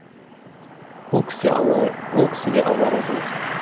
ол кісі алла ол кісіге алла разы болсын